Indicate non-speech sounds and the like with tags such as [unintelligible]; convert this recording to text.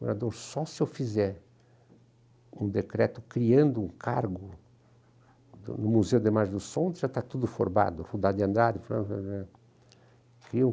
Governador, só se eu fizer um decreto criando um cargo no Museu de Margem do Som, já está tudo formado, [unintelligible] Eu